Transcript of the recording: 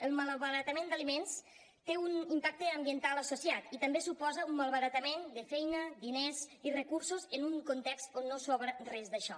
el malbaratament d’aliments té un impacte ambiental associat i també suposa un malbaratament de feina diners i recursos en un context on no sobra res d’això